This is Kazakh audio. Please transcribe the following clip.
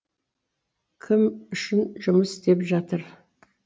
кім үшін жұмыс істеп жатыр